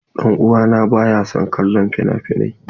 Dan uwa na baya son kallon finafinai.